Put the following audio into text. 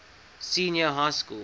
senior high school